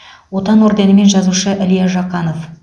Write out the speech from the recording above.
отан орденімен жазушы илья жақанов